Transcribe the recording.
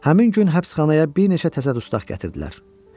Həmin gün həbsxanaya bir neçə təzə dustaq gətirdilər.